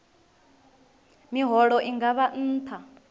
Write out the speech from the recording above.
miholo i nga vha nṱha